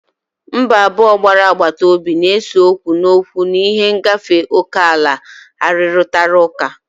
Mba abụọ gbara agbata obi na-ese okwu n'okwu n'ihi ngafe oke ala arụrịtara ụka.